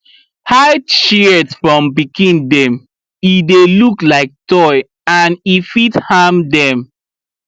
hide shears from pikin dem e dey look like toy and fit harm dem